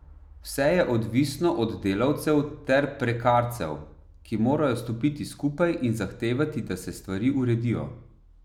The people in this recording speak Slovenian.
Vse je odvisno od delavcev ter prekarcev, ki morajo stopiti skupaj in zahtevati, da se stvari uredijo.